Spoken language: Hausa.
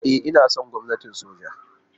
E, ina son gwamnatin soja.